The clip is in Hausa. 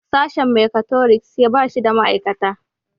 Sashen mekatroniks ba shi da ma'aikata